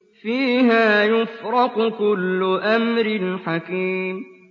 فِيهَا يُفْرَقُ كُلُّ أَمْرٍ حَكِيمٍ